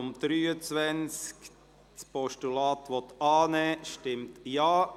Wer dieses Postulat annehmen will, stimmt Ja,